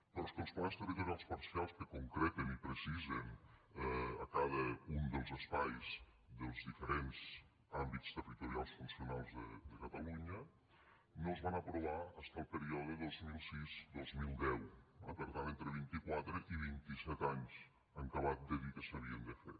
però és que els plans territorials parcials que concreten i precisen cada un dels espais dels diferents àmbits territorials funcionals de catalunya no es van aprovar fins al període dos mil sisdos mil deu eh per tant entre vintiquatre i vintiset anys en acabat de dir que s’havien de fer